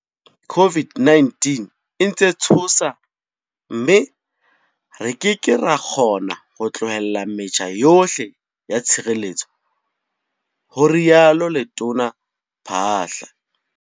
COVID-19 e ntse e tshosa mme re ke ke ra kgona ho tlohella metjha yohle ya tshireletso, ho rialo Letona Phaahla.